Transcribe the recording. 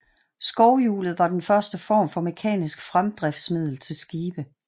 Skovhjulet var den første form for mekanisk fremdriftsmiddel til skibe